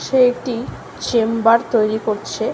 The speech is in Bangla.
সে একটি চেম্বার তৈরি করছে।